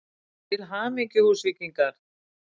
Til hamingju Húsvíkingar!!